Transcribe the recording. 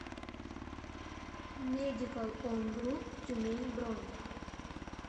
медикал он груп тюмень бронь